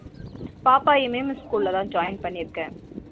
பாப்பா mmm school ல தா join பண்ணி இருக்க